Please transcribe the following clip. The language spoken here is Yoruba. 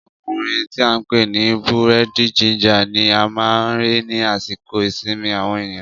Ọkùnrin tí a ń pè ní búrẹ́dì ginger ni a máa ń rí ni àsìkò ìsinmi àwọn ènìyàn